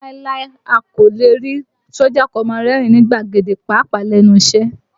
Láíláí, a kò lè rí sójà kó máa rẹ́rìn ín ní gbàgede, pàápàá lẹ́nu iṣẹ́